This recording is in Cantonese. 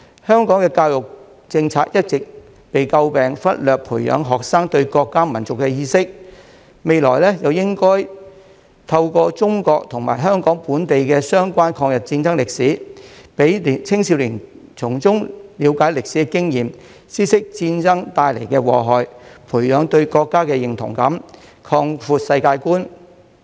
香港的教育政策一直被詬病忽略培養學生對國家民族的意識，未來應該透過中國和香港本地的相關抗日戰爭歷史，讓青少年從中了解歷史的經驗，知悉戰爭帶來的禍害，培養對國家的認同感，擴闊世界觀。